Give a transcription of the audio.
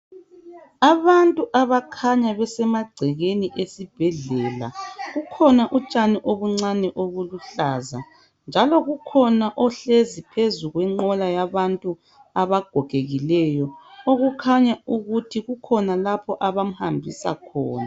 Abantu abakhanya besemagcekeni esibhedlela, kukhona utshani obuncani obuluhlaza. Njalo kukhona ohlezi phezu kwenqola yabantu abagogekileyo, okukhanya ukuthi kukhona lapho abamhambisa khona.